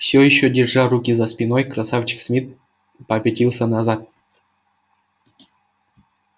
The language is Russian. всё ещё держа руки за спиной красавчик смит попятился назад